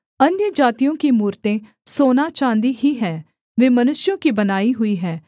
अन्यजातियों की मूरतें सोनाचाँदी ही हैं वे मनुष्यों की बनाई हुई हैं